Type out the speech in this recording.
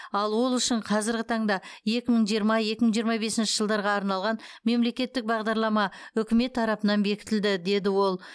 ал ол үшін қазіргі таңда екі мың жиырма екі мың жиырма бесінші жылдарға арналған мемлекеттік бағдарлама үкімет тарапынан бекітілді деді ол